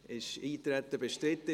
Ich frage noch einmal: